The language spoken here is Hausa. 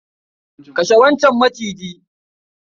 kashe wancan Maciji.